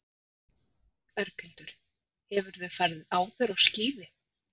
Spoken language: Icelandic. Berghildur: Hefurðu farið áður á skíði?